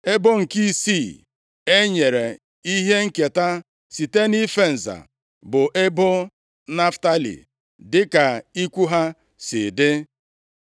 Ebo nke isii e nyere ihe nketa site nʼife nza bụ ebo Naftalị, dịka ikwu ha si dị.